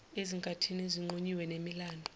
ezinkathini ezinqunyiwe zemilando